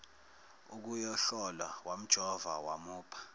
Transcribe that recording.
ukuyohlolwa wamjova wamupha